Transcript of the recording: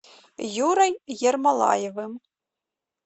юрой ермолаевым